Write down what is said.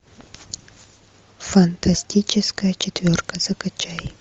фантастическая четверка закачай